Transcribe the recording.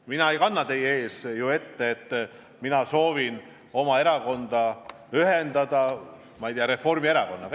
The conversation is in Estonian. Ma ei kanna teie ees praegu ette, et ma soovin oma erakonda ühendada, ma ei tea, Reformierakonnaga.